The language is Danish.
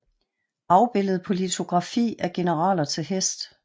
Afbildet på litografi af generaler til hest